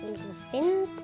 hún